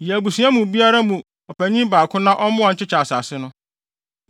Yi abusua biara mu ɔpanyin baako na ɔmmoa nkyekyɛ asase no.